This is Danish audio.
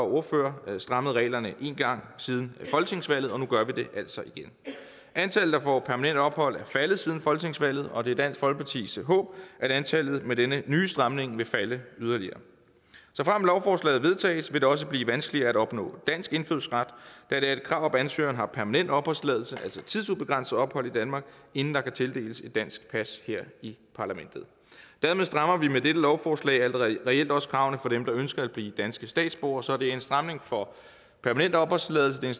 ordførere strammet reglerne en gang siden folketingsvalget og nu gør vi det altså igen antallet der får permanent ophold er faldet siden folketingsvalget og det er dansk folkepartis håb at antallet med denne nye stramning vil falde yderligere såfremt lovforslaget vedtages vil det også blive vanskeligere at opnå dansk indfødsret da det er et krav at ansøgeren har permanent opholdstilladelse altså tidsubegrænset ophold i danmark inden der kan tildeles et dansk pas her i parlamentet dermed strammer vi med dette lovforslag reelt også kravene for dem der ønsker at blive danske statsborgere så det er en stramning for permanent opholdstilladelse det er